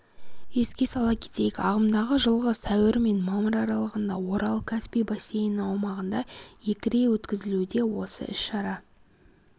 еске сала кетейік ағымдағы жылғы сәуір мен мамыр аралығында орал-каспий бассейні аумағында екіре өткізілуде осы іс-шара